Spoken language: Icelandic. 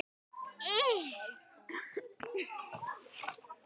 Þórir: Hvað tekur við núna?